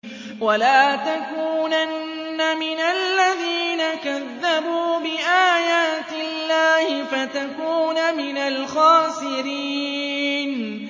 وَلَا تَكُونَنَّ مِنَ الَّذِينَ كَذَّبُوا بِآيَاتِ اللَّهِ فَتَكُونَ مِنَ الْخَاسِرِينَ